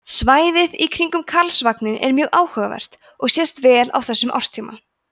svæðið í kringum karlsvagninn er mjög áhugavert og sést vel á þessum árstíma